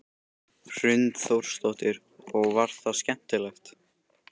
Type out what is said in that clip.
Hrund Þórsdóttir: Og var það skemmtilegt?